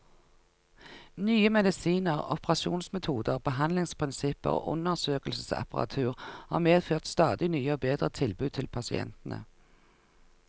Nye medisiner, operasjonsmetoder, behandlingsprinsipper og undersøkelsesapparatur har medført stadig nye og bedre tilbud til pasientene.